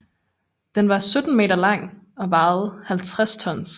Den var 17 meter lang og vejede 50 tons